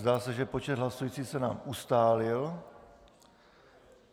Zdá se, že počet hlasujících se nám ustálil.